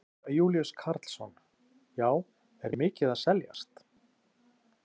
Jón Júlíus Karlsson: Já, er mikið að seljast?